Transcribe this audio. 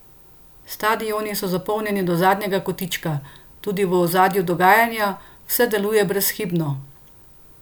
Stadioni so zapolnjeni do zadnjega kotička, tudi v ozadju dogajanja vse deluje brezhibno!